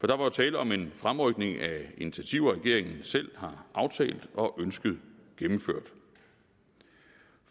der var jo tale om en fremrykning af initiativer regeringen selv har aftalt og ønsket gennemført